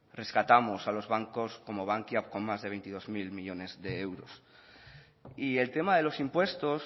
rescatamos a los bancos como bankia con más de veintidós mil millónes de euros y el tema de los impuestos